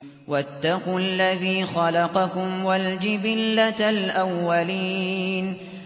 وَاتَّقُوا الَّذِي خَلَقَكُمْ وَالْجِبِلَّةَ الْأَوَّلِينَ